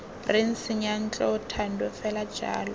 reng seyantlo thando fela jalo